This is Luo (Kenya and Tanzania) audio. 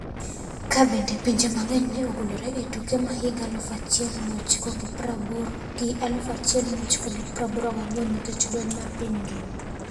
ka bende pinje ma ngeny ne ogolore e tuke ma higa 1980 gi 1984 nikech lweny mar piny ngima.